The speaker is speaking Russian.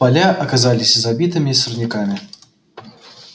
поля оказались забитыми сорняками